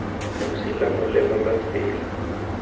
losi la molema la tsela